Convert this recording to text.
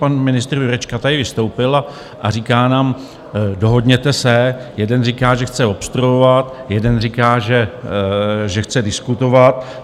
Pan ministr Jurečka tady vystoupil a říká nám: Dohodněte se - jeden říká, že chce obstruovat, jeden říká, že chce diskutovat.